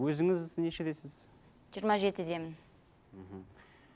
өзіңіз нешедесіз жиырма жетідемін мхм